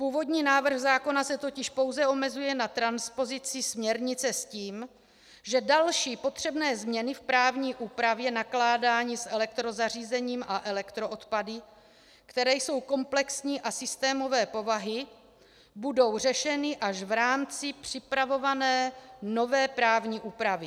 Původní návrh zákona se totiž pouze omezuje na transpozici směrnice, s tím, že další potřebné změny v právní úpravě nakládání s elektrozařízením a elektroodpady, které jsou komplexní a systémové povahy, budou řešeny až v rámci připravované nové právní úpravy.